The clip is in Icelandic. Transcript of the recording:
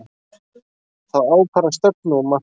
Það ákvarðar stefnu og markmið.